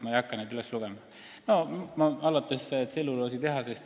Ma ei hakka neid üles lugema, aga eks need algavad tselluloositehasest.